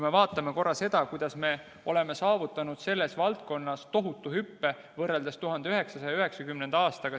Vaatame korra, kuidas me oleme saavutanud selles valdkonnas tohutu hüppe võrreldes 1990. aastaga.